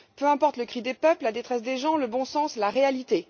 Peu importe le cri des peuples, la détresse des gens, le bon sens, la réalité.